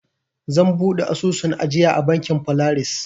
Zan buɗe asusun ajiya a bankin folaris.